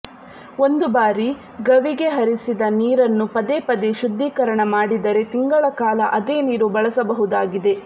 ಒಂದು ಬಾರಿ ಗವಿಗೆ ಹರಿಸಿದ ನೀರನ್ನು ಪದೆಪದೇ ಶುದ್ಧೀಕರಣ ಮಾಡಿದರೆ ತಿಂಗಳ ಕಾಲ ಅದೇ ನೀರು ಬಳಸಬಹುದಾಗಿದೆ